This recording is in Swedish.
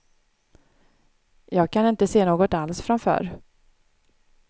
Jag kan inte se något alls från förr.